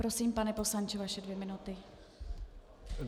Prosím, pane poslance, vaše dvě minuty.